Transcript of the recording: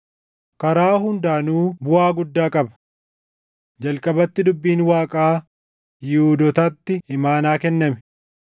Karaa hundaanuu buʼaa guddaa qaba! Jalqabatti dubbiin Waaqaa Yihuudootatti imaanaa kenname.